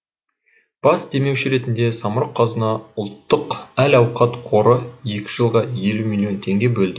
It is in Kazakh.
бас демеуші ретінде самрұқ қазына ұлттық әл ауқат қоры екі жылға елу миллион теңге бөлді